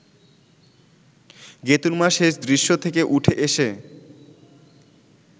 গেতুঁর মা শেষ দৃশ্য থেকে উঠে এসে